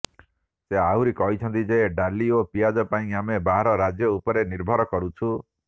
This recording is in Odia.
ସେ ଆହୁରି କହିଛନ୍ତି ଯେ ଡାଲି ଓ ପିଆଜ ପାଇଁ ଆମେ ବାହାର ରାଜ୍ୟ ଉପରେ ନିର୍ଭର କରୁଛୁ